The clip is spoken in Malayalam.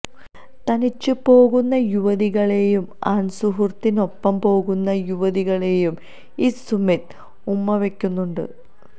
തനിച്ചു പോകുന്ന യുവതികളെയും ആണ്സുഹൃത്തിനൊപ്പം പോകുന്ന യുവതികളെയും ഈ സുമിത് ഉമ്മവയ്ക്കുന്നുണ്ട്